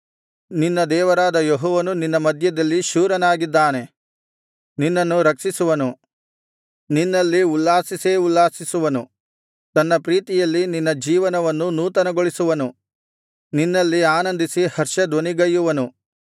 ನಿನ್ನ ದೇವರಾದ ಯೆಹೋವನು ನಿನ್ನ ಮಧ್ಯದಲ್ಲಿ ಶೂರನಾಗಿದ್ದಾನೆ ನಿನ್ನನ್ನು ರಕ್ಷಿಸುವನು ನಿನ್ನಲ್ಲಿ ಉಲ್ಲಾಸಿಸೇ ಉಲ್ಲಾಸಿಸುವನು ತನ್ನ ಪ್ರೀತಿಯಲ್ಲಿ ನಿನ್ನ ಜೀವನವನ್ನು ನೂತನಗೊಳಿಸುವನು ನಿನ್ನಲ್ಲಿ ಆನಂದಿಸಿ ಹರ್ಷಧ್ವನಿಗೈಯುವನು